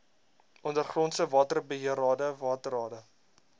ondergrondse waterbeheerrade waterrade